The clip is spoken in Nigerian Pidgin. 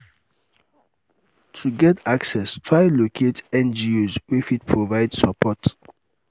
to get access try locate ngos wey fit provide support